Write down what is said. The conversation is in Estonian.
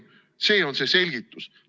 See on see selgitus.